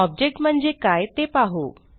object म्हणजे काय ते पाहू